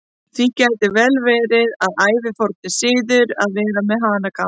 Því gæti vel verið að það sé ævaforn siður að vera með hanakamb.